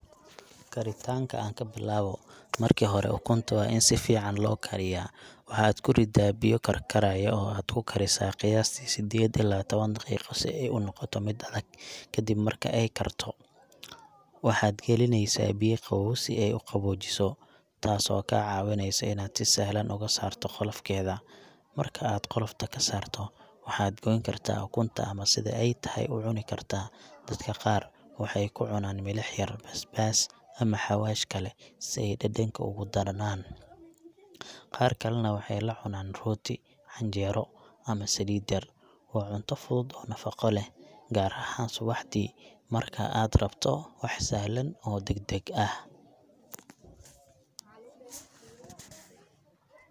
Karitaanka aan ka bilaawo ,Marka hore, ukunta waa in si fiican loo kariyaa. Waxaad ku riddaa biyo karkarayo oo aad ku karisaa qiyaastii sideed ilaa tawan daqiiqo si ay u noqoto mid adag. Kadib marka ay karto, waxaad gelinaysaa biyo qabow si ay u qaboojiso, taasoo kaa caawinaysa inaad si sahlan uga saarto qolofkeeda. Marka aad qolofta ka saarto, waxaad gooyn kartaa ukunta ama sida ay tahay u cuni kartaa. Dadka qaar waxay ku cunaan milix yar, basbaas, ama xawaash kale si ay dhadhanka ugu darnaan. Qaar kalena waxay la cunaan rooti, canjeero ama saliid yar. Waa cunto fudud oo nafaqo leh, gaar ahaan subaxdii markaad rabto wax sahlan oo deg deg ah.